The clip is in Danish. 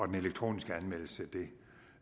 den elektroniske anmeldelse så